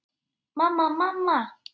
Mamma, mamma.